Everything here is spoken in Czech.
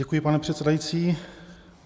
Děkuji, pane předsedající.